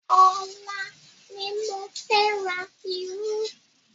Ọ̀la ni mo fẹ́ ra irú.